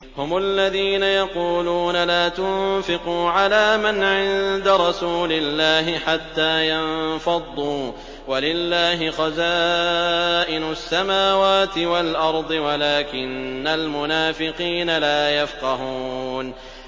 هُمُ الَّذِينَ يَقُولُونَ لَا تُنفِقُوا عَلَىٰ مَنْ عِندَ رَسُولِ اللَّهِ حَتَّىٰ يَنفَضُّوا ۗ وَلِلَّهِ خَزَائِنُ السَّمَاوَاتِ وَالْأَرْضِ وَلَٰكِنَّ الْمُنَافِقِينَ لَا يَفْقَهُونَ